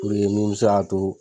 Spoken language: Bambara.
Puruke mun bɛ se ka to